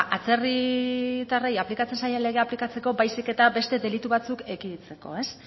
ba atzerritarrei aplikatzen zaien legea aplikatzeko baizik eta beste delitu batzuk ekiditzeko ez